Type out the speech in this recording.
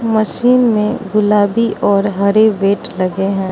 Machine में गुलाबी और हरे वेट लगे हैं।